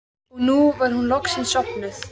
Og nú var hún loksins sofnuð.